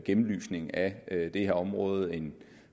gennemlysning af det her område en